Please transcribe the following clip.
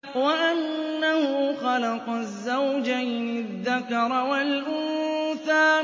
وَأَنَّهُ خَلَقَ الزَّوْجَيْنِ الذَّكَرَ وَالْأُنثَىٰ